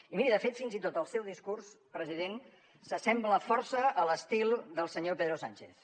i miri de fet fins i tot el seu discurs president s’assembla força a l’estil del senyor pedro sánchez